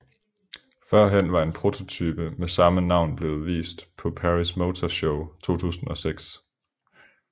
Førhen var en prototype med samme navn blevet vist på Paris Motor Show 2006